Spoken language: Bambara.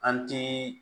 An ti